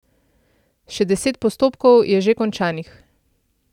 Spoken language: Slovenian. Še deset postopkov je že končanih.